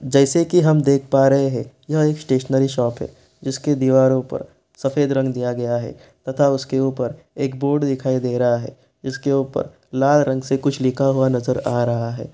जैसे की हम देख पा रहे हैं यह एक स्टैशनेरी शॉप है जिसकी दीवारों पर सफेद रंग दिया गया है तथा उसके ऊपर एक बोर्ड दिखाई दे रहा है उसके ऊपर लाल रंग से कुछ लिखा हुआ नजर आ रहा है।